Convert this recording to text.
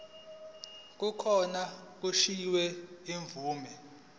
kokuba kukhishwe imvume